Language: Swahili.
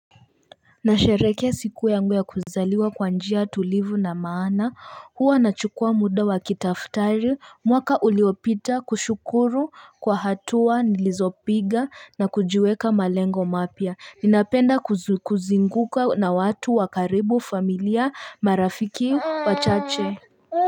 Nasherekea siku yangu ya kuzaliwa kwa njia tulivu na maana huwa nachukua muda wa kitaftari mwaka uliopita kushukuru kwa hatua nilizopiga na kujiweka malengo mapya ninapenda kuzinguka na watu wa karibu familia marafiki wachache.